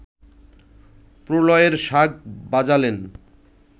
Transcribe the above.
প্রলয়ের শাঁখ বাজালেন